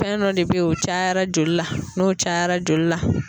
Fɛn dɔ de be yen, o cayara joli la, n'o cayara joli la